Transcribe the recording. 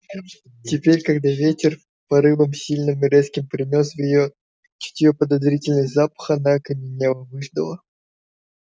теперь когда ветер порывом сильным и резким принёс в её чутье подозрительный запах она окаменела выждала